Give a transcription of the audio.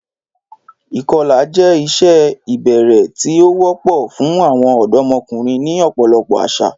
Ìkọlà jẹ́ ìṣe ìbẹ̀rẹ̀ tí ó wọ́pọ̀ fún àwọn ọ̀dọ́mọkùnrin ní ọ̀pọ̀lọpọ̀ àṣà.